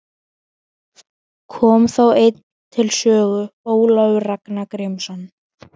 Vigfús, hvenær kemur vagn númer tuttugu og fimm?